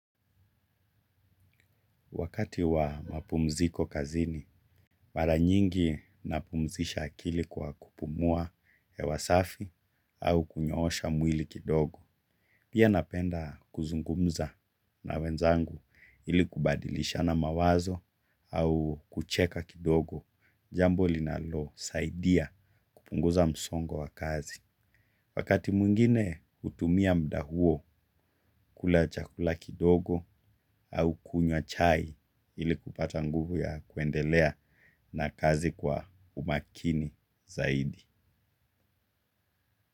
Wakati wa mapumziko kazini, mara nyingi napumzisha akili kwa kupumua hewasafi au kunyoosha mwili kidogo. Pia napenda kuzungumza na wenzangu ili kubadilishana mawazo au kucheka kidogo jambo linalo saidia kupunguza msongo wa kazi. Wakati mwingine hutumia muda huo kula chakula kidogo au kunywa chai ili kupata nguvu ya kuendelea na kazi kwa umakini zaidi.